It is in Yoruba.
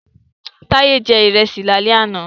Taye jẹ ìrẹsì lálẹ́ àná